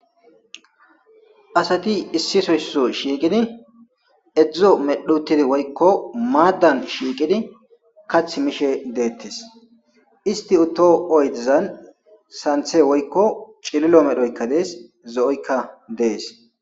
asati issisoysso shiiqidi edzdzo medhutidi woykko maaddan shiiqidi kath mishe deettes isti utto oydezan santhe woykko cililo medhoykka dees zo7oykka dees